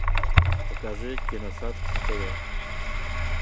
покажи киносад на тв